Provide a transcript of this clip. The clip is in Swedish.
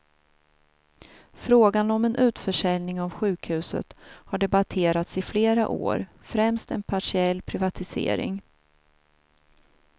Frågan om en utförsäljning av sjukhuset har debatterats i flera år, främst en partiell privatisering.